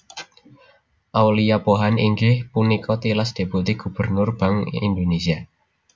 Aulia Pohan inggih punika tilas Deputi Gubernur Bank Indonésia